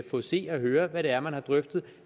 få at se og høre hvad det er man har drøftet